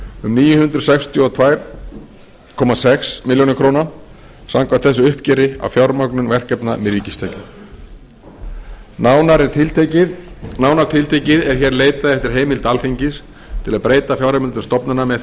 um níu hundruð sextíu og tvö komma sex milljónir króna samkvæmt þessu uppgjöri á fjármögnun verkefna með ríkistekjum nánar tiltekið er hér leitað eftir heimild alþingis til að breyta fjárheimildum stofnana með því